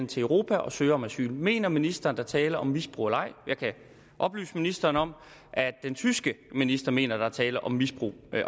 til europa og søger om asyl mener ministeren er tale om misbrug eller ej jeg kan oplyse ministeren om at den tyske minister mener at der er tale om misbrug